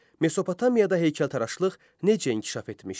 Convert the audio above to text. Mesopotamiyada heykəltaraşlıq necə inkişaf etmişdi?